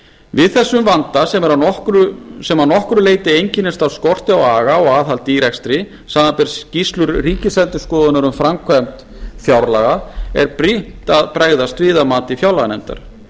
við þessum vanda sem að nokkru leyti einkennist af skorti á aga og aðhaldi í rekstri samanber skýrslur ríkisendurskoðunar um framkvæmd fjárlaga er brýnt að bregðast við að mati fjárlaganefndar